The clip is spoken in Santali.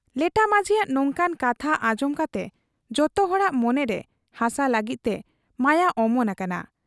ᱞᱮᱰᱷᱟ ᱢᱟᱹᱡᱷᱤᱭᱟᱜ ᱱᱚᱝᱠᱟᱱ ᱠᱟᱛᱷᱟ ᱟᱸᱡᱚᱢ ᱠᱟᱛᱮ ᱡᱚᱛᱚ ᱦᱚᱲᱟᱜ ᱢᱚᱱᱮᱨᱮ ᱦᱟᱥᱟ ᱞᱟᱹᱜᱤᱫᱛᱮ ᱢᱟᱭᱟ ᱚᱢᱚᱱ ᱟᱠᱟᱱᱟ ᱾